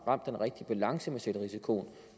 ramt den rigtige balance med selvrisikoen